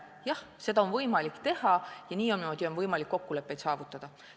Jah, seda on võimalik teha ja niimoodi on võimalik kokkuleppeid saavutada.